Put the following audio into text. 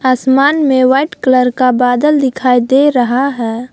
आसमान में white colour का बादल दिखाई दे रहा है।